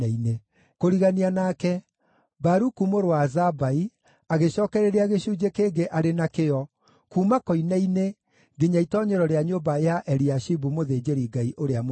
Kũrigania nake, Baruku mũrũ wa Zabai agĩcookereria gĩcunjĩ kĩngĩ arĩ na kĩyo, kuuma koine-inĩ nginya itoonyero rĩa nyũmba ya Eliashibu mũthĩnjĩri-Ngai ũrĩa mũnene.